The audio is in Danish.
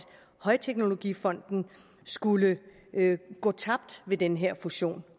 højteknologifonden skulle gå tabt med den her fusion